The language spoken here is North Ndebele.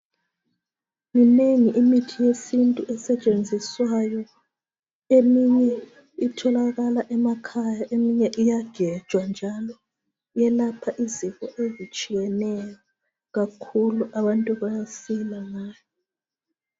minengi imithi yesintu esetshenziswayo eminye itholakala emakhaya eminye iyagejwa njalo yelapha izifo ezitshiyeneyo kakhulu abantu bayasila ngayo